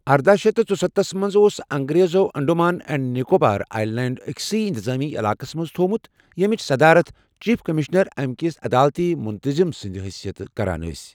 ارداہ شیتھ ژُستتھَس منٛز اوس انٛگریزو انٛڈمان اینٛڈ نِکوبار آیلینٛڈ أکِسٕے اِنتِظٲمی علاقس منٛز تھوومُت ییٚمِچ صدارت چیٖف کٔمِشنر اَمہِ کِس عَدالتی مُنتظِم سٕنٛدِس حشیتس منز کَران اوس۔